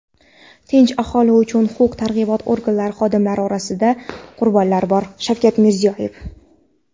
tinch aholi va huquq-tartibot organlari xodimlari orasida qurbonlar bor — Shavkat Mirziyoyev.